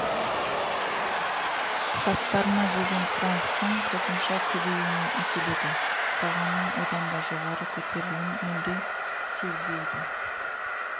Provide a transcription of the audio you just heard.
заттарына деген сұраныстың қосымша көбейуне әкеледі бағаның одан да жоғары көтеруілін мүлде сезбейді